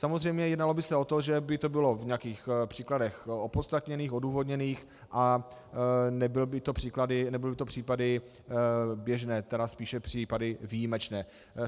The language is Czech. Samozřejmě jednalo by se o to, že by to bylo v nějakých případech opodstatněných, odůvodněných a nebyly by to případy běžné, tedy spíše případy výjimečné.